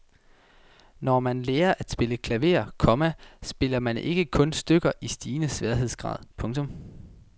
Når man lærer at spille klaver, komma spiller man ikke kun stykker i stigende sværhedsgrad. punktum